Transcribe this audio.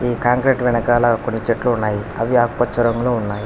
ఈ కాంక్రీట్ వెనకాల కొన్ని చెట్లు ఉన్నాయి అవి ఆకుపచ్చ రంగులో ఉన్నాయి.